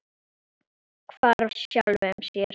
Hvarf sjálfum sér.